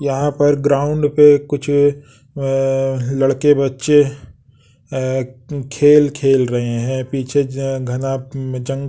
यहाँ पर ग्राउंड पे कुछ अ लड़के बच्चे अ खेल खेल रहे हैं पीछे ज घना जंग --